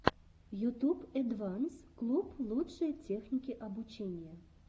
ютюб эдванс клуб лучшие техники обучения